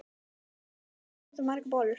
Rósa: Hvað eruð þið að búa til margar bollur?